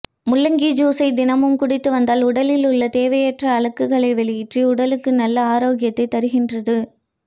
முள்ளங்கி ஜூலை தினமும் குடித்து வந்தால் உடலில் உள்ள தேவையற்ற அழுக்குகளை வெளியேற்றி உடலுக்கு நல்ல ஆரோக்கியத்தை தருகின்றது